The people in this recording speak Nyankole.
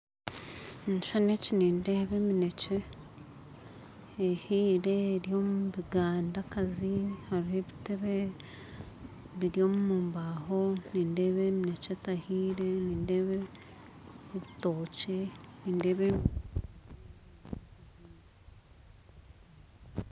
Omu kishushani eki nindeeba emineekye ehiire eri omu bigandakazi hariho ebitebe biri omu baaho nindeeba emineekye etahiire nindeeba ebitookye